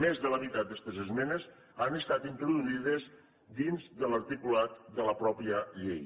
més de la meitat d’estes esmenes han estat introduïdes dins de l’articulat de la mateixa llei